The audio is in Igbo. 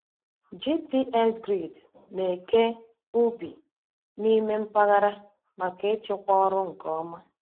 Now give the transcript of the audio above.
GPS grid na-eke ubi n'ime mpaghara maka ịchịkwa ọrụ nke ọma.